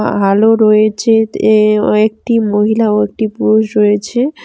আলো রয়েছে তে ও একটি মহিলা ও একটি পুরুষ রয়েছে।